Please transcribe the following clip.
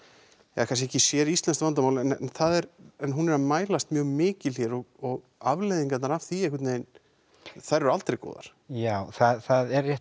ja kannski ekki séríslenskt vandamál en það er hún er að mælast mjög mikil hér og afleiðingarnar af því einhvern veginn eru aldrei góðar já það er rétt